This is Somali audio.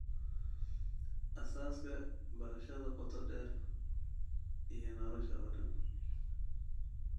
Aasaaska, Barashada Qoto dheer iyo Nolosha oo dhan